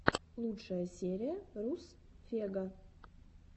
лучшая серия руссфегга